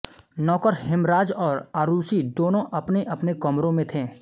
नौकर हेमराज और आरुषि दोनों अपनेअपने कमरों मे थे